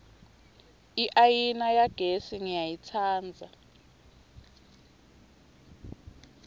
iayina yagesi ngiyayitsandza